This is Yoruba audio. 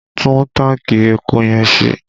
Tún tanki epo yẹn ṣe!